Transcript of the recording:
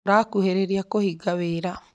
Tũrakuhĩrĩrĩa kũhingia wĩra